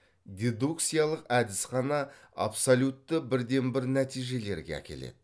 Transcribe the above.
дедукциялық әдіс қана абсолютті бірден бір нәтижелерге әкеледі